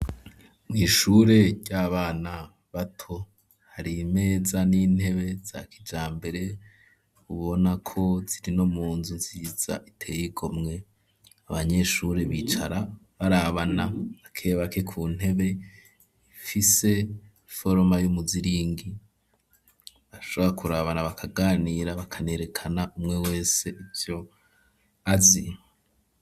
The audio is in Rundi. Mw' ishure ry'abana bato, hari imeza n'intebe za kijambere, ubona ko zirino munzu nziza iteye igomwe ,abanyeshure bicara barabana bakebake ku ntebe ifise foroma y'umuziringi ,abakurabana bakaganira bakanerekana ,umwe wese ivyo azi.